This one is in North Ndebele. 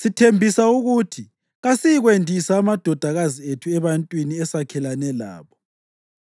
Sithembisa ukuthi kasiyikwendisa amadodakazi ethu ebantwini esakhelene labo